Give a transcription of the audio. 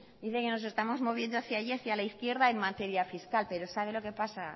dice que nos estamos moviendo hacia allí hacia la izquierda en materia fiscal pero sabe lo que pasa